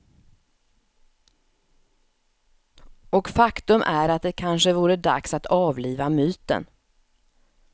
Och faktum är att det kanske vore dags att avliva myten.